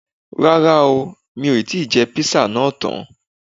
Rárá o, mo ti jẹ́ Písà náà tán